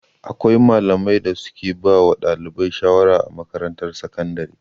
Akwai malaman da su ke ba wa ɗalibai shawara a makarantar sakandire